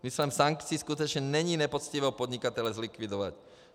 Smyslem sankcí skutečně není nepoctivého podnikatele zlikvidovat.